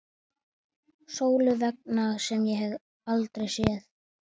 Sólu vegna, sem ég hef aldrei séð.